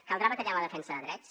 caldrà batallar en la defensa de drets